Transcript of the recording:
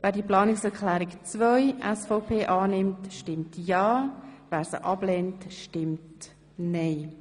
Wer Planungserklärung 3 annehmen will, stimmt ja, wer sie ablehnt, stimmt nein.